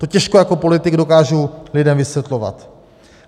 To těžko jako politik dokážu lidem vysvětlovat.